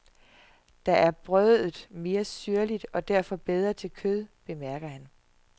Der er brødet mere syrligt og derfor bedre til kød, bemærker han.